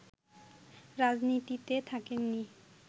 রাজনীতিতে থাকেননি